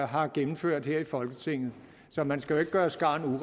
har gennemført her i folketinget så man skal jo ikke gøre skarn